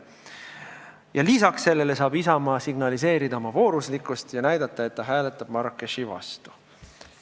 Ja lisaks sellele saab Isamaa signaliseerida oma vooruslikkusest ja näidata, et ta hääletab Marrakechi vastu.